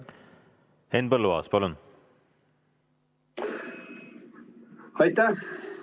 Henn Põlluaas, palun!